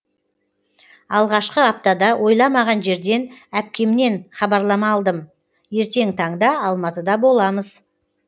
алғашқы аптада ойламаған жерден әпкемнен хабарлама алдым ертең таңда алматыда боламыз